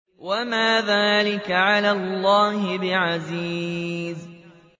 وَمَا ذَٰلِكَ عَلَى اللَّهِ بِعَزِيزٍ